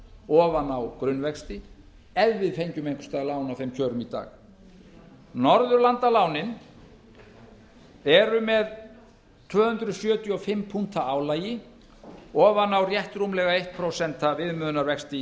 ofan á grunnvexti ef við fengjum einhvers staðar lán á þeim kjörum í dag norðurlandalánin eru með tvö hundruð sjötíu og fimm punkta álagi ofan á rétt rúmlega eitt prósent viðmiðunarvexti í